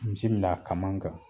Misi la kaman kan